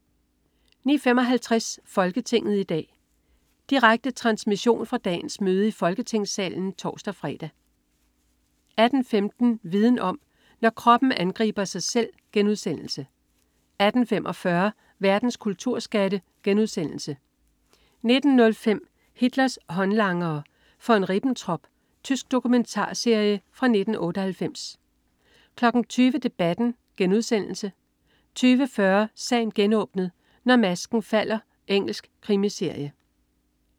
09.55 Folketinget i dag. Direkte transmission fra dagens møde i Folketingssalen (tors-fre) 18.15 Viden om: Når kroppen angriber sig selv* 18.45 Verdens kulturskatte* 19.05 Hitlers håndlangere. Von Ribbentrop. Tysk dokumentarserie fra 1998 20.00 Debatten* 20.40 Sagen genåbnet: Når masken falder. Engelsk krimiserie